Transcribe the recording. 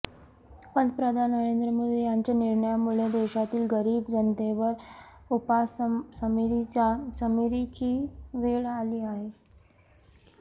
पंतप्रधान नरेंद्र मोदी यांच्या या निर्णयामुळे देशातील गरिब जनतेवर उपासमारीची वेळ आली आहे